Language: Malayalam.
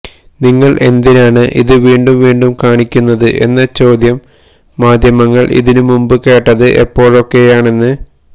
നിങ്ങള് എന്തിനാണ് ഇത് വീണ്ടും വീണ്ടും കാണിക്കുന്നത് എന്ന ചോദ്യം മാധ്യമങ്ങള് ഇതിനുമുമ്പ് കേട്ടത് എപ്പോഴൊക്കെയാണെന്ന്